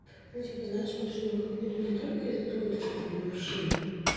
ну типа знаешь мы ж её выгнали не только из-за того то что у неё вши